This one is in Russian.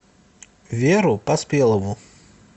веру поспелову